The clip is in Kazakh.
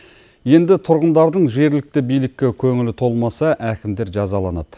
енді тұрғындардың жергілікті билікке көңілі толмаса әкімдер жазаланады